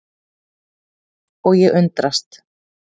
Og ég undrast.